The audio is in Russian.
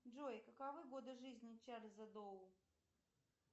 джой каковы годы жизни чарльза доу